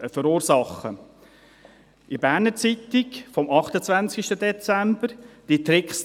In der «Berner Zeitung» vom 28. Dezember 2018 hiess es «